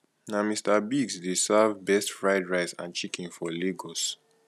na mr biggs dey serve best fried rice and chicken for lagos